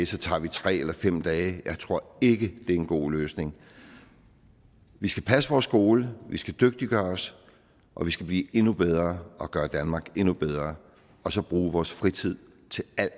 så tager vi tre eller fem dage jeg tror ikke det er en god løsning vi skal passe vores skole vi skal dygtiggøre os og vi skal blive endnu bedre og gøre danmark endnu bedre og så bruge vores fritid til alt